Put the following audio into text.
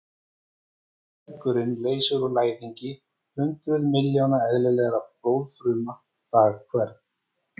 Beinmergurinn leysir úr læðingi hundruð miljóna eðlilegra blóðfruma dag hvern.